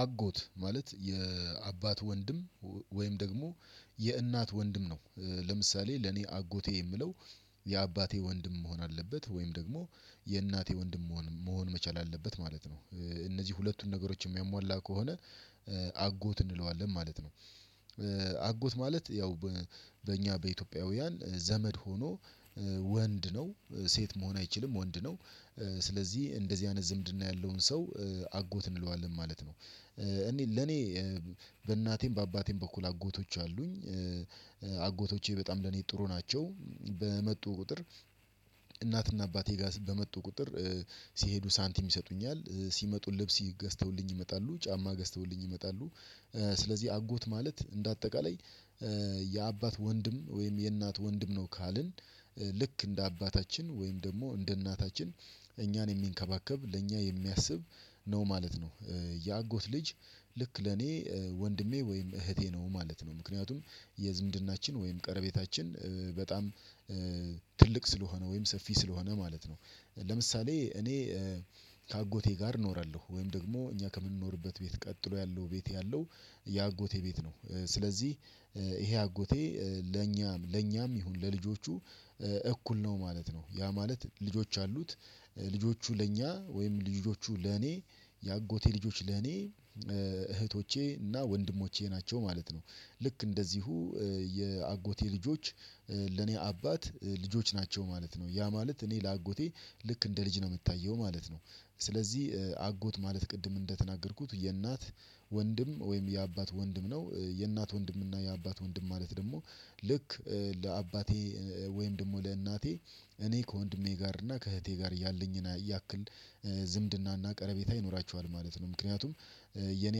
አጎት ማለት የአባት ወንድም ወይም ደግሞ የእናት ወንድም ነው። ለምሳሌ ለኔ አጎቴ የምለው የአባቴ ወንድም መሆን አለበት ወይም ደግሞ የእናቴ ወንድም መሆን መሆን መቻል አለበት ማለት ነው እነዚህ ሁለቱን ነገሮች የሚያሟላ ከሆነ አጎት እንለዋለን ማለት ነው። አጎት ማለት ያው በእኛ በኢትዮጵያውያን ዘመድ ሆኖ ወንድ ነው ሴት መሆን አይችልም ወንድ ነው። ስለዚህ እንደዚህ አይነት ዝምድና ያለውን ሰው አጎት እንለዋለን ማለት ነው። እኔ ለኔ በእናቴም በአባቴም በኩል አጎቶች አሉኝ። አጎቶቼ በጣም ለኔ ጥሩ ናቸው በመጡ ቁጥር እናትና አባቴ ጋር በመጡ ቁጥር ሲሄዱ ሳንቲም ይሰጡኛል ሲመጡን ልብስ ገዝተውልኝ ይመጣሉ ጫማ ገዝተውልኝ ይመጣሉ። ስለዚህ አጎት ማለት እንደ አጠቃላይ የአባት ወንድም ወይም የእናት ወንድም ነው። ካልን ልክ እንደ አባታችን ወይም ደግሞ እንደ እናታችን እኛን የሚንከባከብ ለእኛ የሚያስብ ነው ማለት ነው። የአጎት ልጅ ልክ ለኔ ወንድሜ ወይም እህቴ ነው ማለት ነው። ምክንያቱም የዝምድናችን ወይም ቀረቤታችን በጣም ትልቅ ስለሆነ ወይም ሰፊ ስለሆነ ማለት ነው። ለምሳሌ እኔ ከአጎቴ ጋር እኖራለሁ ወይም ደግሞ እኛ ከምንኖርበት ቤት ቀጥሎ ያለው ቤት ያለው የአጎቴ ቤት ነው። ስለዚህ ይሄ አጎቴ ለኛም ለኛም ይሁን ለልጆቹ እኩል ነው ማለት ነው። ያ ማለት ልጆች አሉት ልጆቹ ለእኛ ወይም ልጆቹ ለእኔ የአጎቴ ልጆች ለእኔ እህቶቼ እና ወንድሞቼ ናቸው ማለት ነው። ልክ እንደዚሁ የአጎቴ ልጆች ለኔ አባት ልጆች ናቸው ማለት ነው ያ ማለት እኔ ለአጎቴ ልክ እንደ ልጅ ነው የምታየው ማለት ነው። ስለዚህ አጎት ማለት ቅድም እንደተናገርኩት የእናት ወንድም ወይም የአባት ወንድም ነው የእናት ወንድም እና የአባት ወንድም ማለት ደግሞ ልክ ለአባቴ ወይም ደግሞ ለእናቴ እኔ ከወንድሜ ጋር እና ከእህቴ ጋር እያለኝ ያክል ዝምድናና ቀረቤታ ይኖራቸዋል ማለት ነው። ምክንያቱም የኔ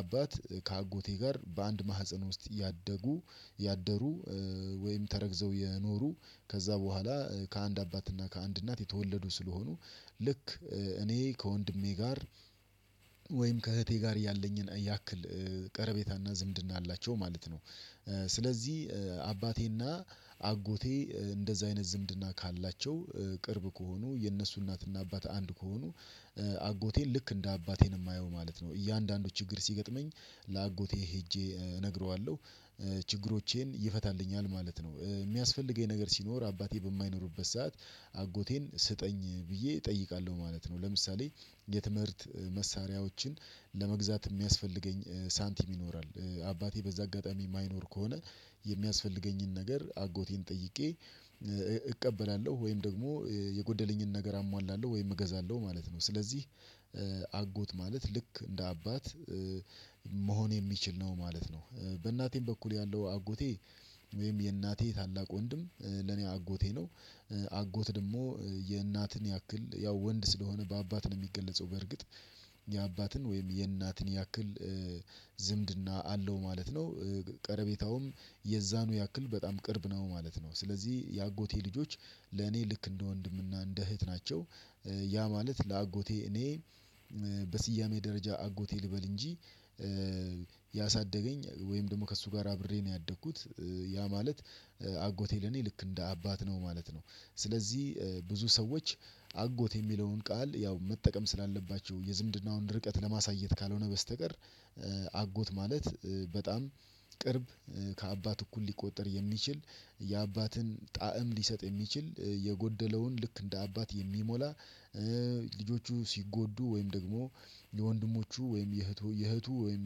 አባት ከአጎቴ ጋር በአንድ ማህፀን ውስጥ ያደጉ ያደሩ ወይም ተረግዘው የኖሩ ከዛ በኋላ ከአንድ አባትና ከአንድ እናት የተወለዱ ስለሆኑ ልክ እኔ ከወንድሜ ጋር ወይም ከእህቴ ጋር ያለኝን ያክል ቀረቤታና ዝምድና አላቸው ማለት ነው። ስለዚህ አባቴና አጎቴ እንደዛ አይነት ዝምድና ካላቸው ቅርብ ከሆኑ የእነሱ እናትና አባት አንድ ከሆኑ አጎቴን ልክ እንደ አባቴ ነው የማየው ማለት ነው። እያንዳንዱ ችግር ሲገጥመኝ ለአጎቴ ሄጄ እነግረዋለሁ ችግሮቼን ይፈታልኛል ማለት ነው የሚያስፈልገኝ ነገር ሲኖር አባቴ በማይኖርበት ሰዓት አጎቴን ስጠኝ ብዬ እጠይቃለሁ ማለት ነው። ለምሳሌ የትምህርት መሳሪያዎችን ለመግዛት የሚያስፈልገኝ ሳንቲም ይኖራል አባቴ በዛ አጋጣሚ የማይኖር ከሆነ የሚያስፈልገኝን ነገር አጎቴን ጠይቄ እቀበላለሁ ወይም ደግሞ የጎደለኝን ነገር አሟላለሁ ወይም እገዛለሁ ማለት ነው። ስለዚህ አጎት ማለት ልክ እንደ አባት መሆን የሚችል ነው ማለት ነው። በእናቴም በኩል ያለው አጎቴ ወይም የእናቴ ታላቅ ወንድም ለኔ አጎቴ ነው። አጎት ደግሞ የእናትን ያክል ያው ወንድ ስለሆነ በአባት ነው የሚገለጸው በርግጥ የአባትን ወይም የእናትን ያክል ዝምድና አለው ማለት ነው ቀረቤታውም የዛኑ ያክል በጣም ቅርብ ነው ማለት ነው። ስለዚህ የአጎቴ ልጆች ለኔ ልክ እንደ ወንድምና እንደ እህት ናቸው ያ ማለት ለአጎቴ እኔ በስያሜ ደረጃ አጎቴ ልበል እንጂ ያሳደገኝ ወይም ደግሞ ከእሱ ጋር አብሬ ነው ያደግኩት ያ ማለት አጎቴ ለኔ ልክ እንደ አባት ነው ማለት ነው። ስለዚህ ብዙ ሰዎች አጎት የሚለውን ቃል ያው መጠቀም ስላለባቸው የዝምድናውን ርቀት ለማሳየት ካልሆነ በስተቀር አጎት ማለት በጣም ቅርብ ከአባት እኩል ሊቆጠር የሚችል የአባትን ጣዕም ሊሰጥ የሚችል የጎደለውን ልክ እንደ አባት የሚሞላ። ልጆቹ ሲጎዱ ወይም ደግሞ የወንድሞቹ ወይም የእህቱ የእህቱ ወይም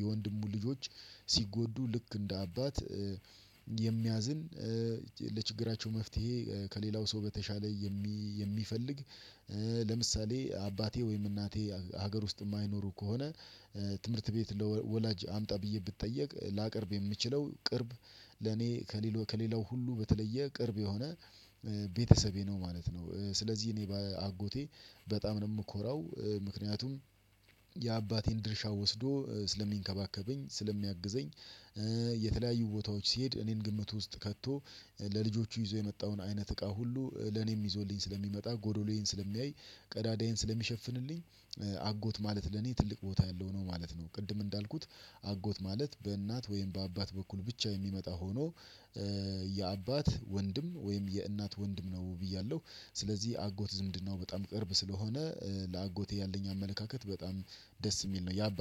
የወንድሙ ልጆች ሲጎዱ ልክ እንደ አባት የሚያዝን ለችግራቸው መፍትሄ ከሌላው ሰው በተሻለ የሚፈልግ ለምሳሌ አባቴ ወይም እናቴ ሀገር ውስጥ የማይኖሩ ከሆነ ትምህርት ቤት ወላጅ አምጣ ብዬ ብትጠየቅ ላቀርብ የምችለው ቅርብ ለኔ ከሌላው ሁሉ በተለየ ቅርብ የሆነ ቤተሰቤ ነው ማለት ነው። ስለዚህ እኔ በአጎቴ በጣም ነው የምኮራው ምክንያቱም የአባቴን ድርሻ ወስዶ ስለሚንከባከበኝ ስለሚያግዘኝ የተለያዩ ቦታዎች ሲሄድ እኔን ግምት ውስጥ ከቶ ለልጆቹ ይዞ የመጣውን አይነት እቃ ሁሉ ለኔም ይዞልኝ ስለሚመጣ ጎዶሎዬን ስለሚያይ ቀዳዳዬን ስለሚሸፍንልኝ አጎት ማለት ለኔ ትልቅ ቦታ ያለው ነው ማለት ነው። ቅድም እንዳልኩት አጎት ማለት በእናት ወይም በአባት በኩል ብቻ የሚመጣ ሆኖ የአባት ወንድም ወይም የእናት ወንድም ነው ብያለሁ ስለዚህ አጎት ዝምድናው በጣም ቅርብ ስለሆነ ለአጎቴ ያለኝ አመለካከት በጣም ደስ የሚል ነው።